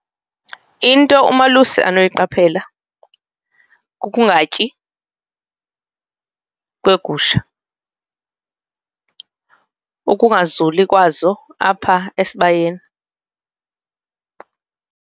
Into umalusi anoyiqaphela kukungatyi kweegusha ukungazuli kwazo apha esibayeni.